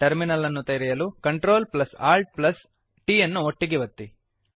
terminal ಅನ್ನು ತೆರೆಯಲು CTRLALTT ಅನ್ನು ಒಟ್ಟಿಗೆ ಒತ್ತಿ